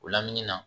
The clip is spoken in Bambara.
O lamini na